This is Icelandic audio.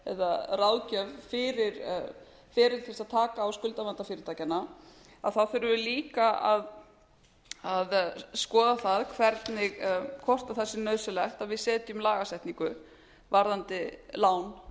eða ráðgjöf fyrir feril til þess að taka á skuldavanda fyrirtækjanna þurfum við líka að skoða það hvernig hvort það sé nauðsynlegt að við setjum lagasetningu varðandi lán fyrirtækjanna